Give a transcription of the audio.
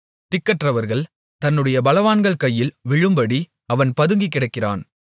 திக்கற்றவர்கள் தன்னுடைய பலவான்கள் கையில் விழும்படி அவன் பதுங்கிக் கிடக்கிறான்